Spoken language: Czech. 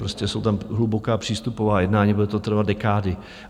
Prostě jsou tam hluboká přístupová jednání, bude to trvat dekády.